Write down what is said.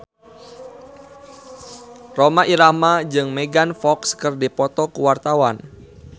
Rhoma Irama jeung Megan Fox keur dipoto ku wartawan